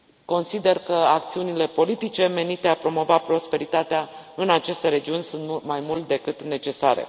Consider că acțiunile politice menite a promova prosperitatea în aceste regiuni sunt mai mult decât necesare.